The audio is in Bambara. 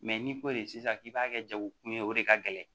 n'i ko de sisan k'i b'a kɛ jago kun ye o de ka gɛlɛ